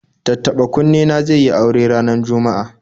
Tattaɓa-kunne na zai yi aure ranar Juma'a